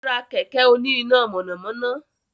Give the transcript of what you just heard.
Ó rá kẹ̀kẹ́ òní iná mànàmáná